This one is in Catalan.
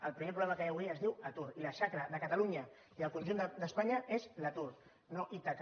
el primer problema que hi ha avui es diu atur i la xacra de catalunya i del conjunt d’espanya és l’atur no ítaca